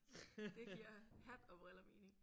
Det giver hat og briller mening